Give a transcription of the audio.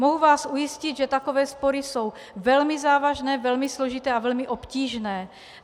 Mohu vás ujistit, že takové spory jsou velmi závažné, velmi složité a velmi obtížné.